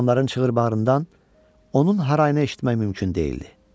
Adamların çığır-bağırından onun harayını eşitmək mümkün deyildi.